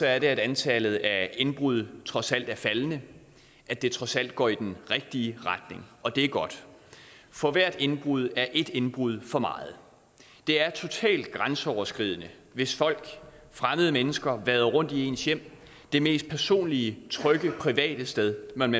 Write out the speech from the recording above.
at antallet af indbrud trods alt er faldende at det trods alt går i den rigtige retning og det er godt for hvert indbrud af ét indbrud for meget det er totalt grænseoverskridende hvis fremmede mennesker vader rundt i ens hjem det mest personlige trygge private sted man